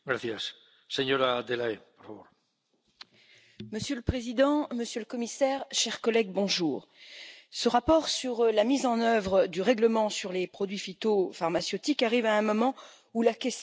Monsieur le Président, Monsieur le Commissaire, chers collègues, ce rapport sur la mise en œuvre du règlement sur les produits phytopharmaceutiques arrive à un moment où la question des pesticides est au cœur des débats en Europe.